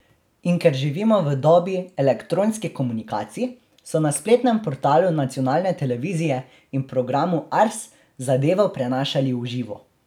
In ker živimo v dobi elektronskih komunikacij, so na spletnem portalu nacionalne televizije in programu Ars zadevo prenašali v živo.